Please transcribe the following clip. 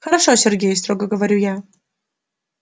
хорошо сергей строго говорю я